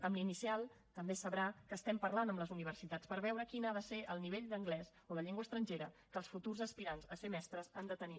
amb la inicial també sabrà que estem parlant amb les universitats per veure quin ha de ser el nivell d’anglès o de llengua estrangera que els futurs aspirants a ser mestres han de tenir